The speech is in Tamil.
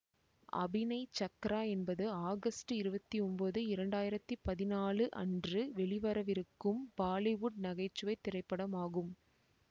அபினை சக்ரா என்பது ஆகஸ்ட் இருபவதி ஒன்பது இரண்டு ஆயிரத்தி பதினாலு அன்று வெளிவரவிருக்கும் பாலிவுட் நகைச்சுவை திரைப்படமாகும்